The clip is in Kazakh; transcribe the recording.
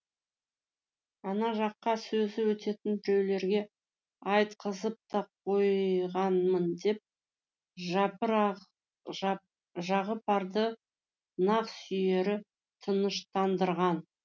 ана жаққа сөзі өтетін біреулерге айтқызып та қойғанмын деп жағыпарды нақ сүйері тыныштандырған